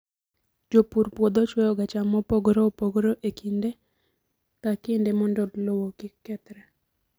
Jopur puodho chwoyoga cham mopogore opogore e kinde ka kinde mondo lowo kik kethre.